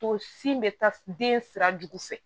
To sin bɛ taa den sira jugu fɛ